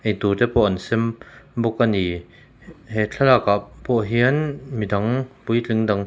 eitur te pawh an sem bawk a ni he he thlalak ah pawh hian midang puitling dang--